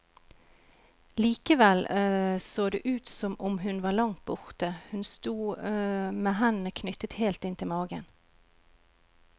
Likevel så det ut som om hun var langt borte, hun sto med hendene knyttet helt inntil magen.